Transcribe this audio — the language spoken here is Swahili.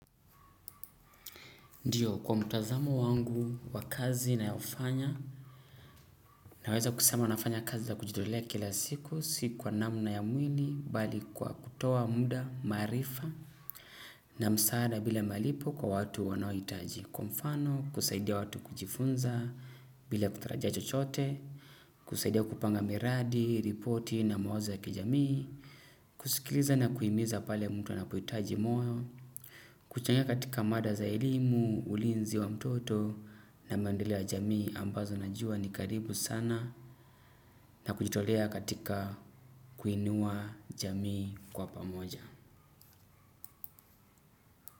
Ndio kwa mtazamo wangu wa kazi nayofanya naweza kusema nafanya kazi za kujitolea kila siku si kwa namna ya mwili bali kwa kutoa muda maarifa na masaada bila malipo kwa watu wanaohitaji kwa mfano, kusaidia watu kujifunza bila kutarajia chochote kusaidia kupanga miradi ripoti na mawazo ya kijami kusikiliza na kuhimiza pale mtu anapohitaji moyo kuchangia katika mada za elimu ulinzi wa mtoto na maendeleo ya jamii ambazo najuwa ni karibu sana na kujitolea katika kuinua jamii kwa pamoja.